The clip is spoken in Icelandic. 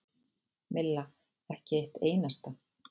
Milla: Ekki eitt einasta.